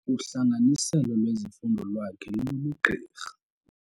Uhlanganiselo lwezifundo lwakhe lolobugqirha.